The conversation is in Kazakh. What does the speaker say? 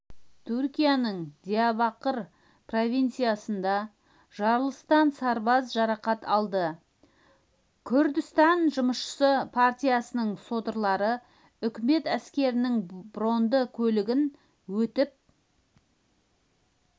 түркияның диярбакыр провинциясында жарылыстан сарбаз жарақат алды күрдістан жұмысшы партиясының содырлары үкімет әскерінің бронды көлігі өтіп